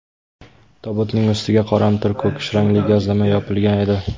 Tobutning ustiga qoramtir ko‘kish rangli gazlama yopilgan edi.